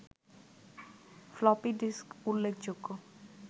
floppy disk উল্লেখযোগ্য